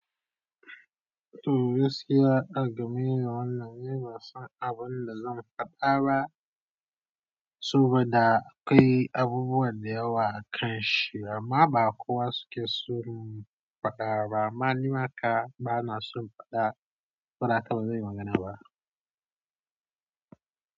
To, gaskiya a game da wannan, ni banasan abin da zan faɗa ba. Sabada kai abubuwa da yawa a kanshi amma ba kowa suke son faɗa ba. Amma nima haka bana son faɗa, saboda haka bazanyi magana ba.